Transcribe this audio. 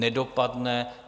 Nedopadne.